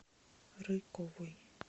рыковой